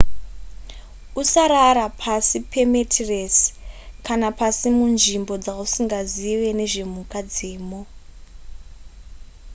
usarara pasi pametiresi kana pasi munzvimbo dzausingazive nezvemhuka dzemo